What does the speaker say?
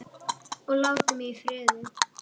Og láti mig í friði.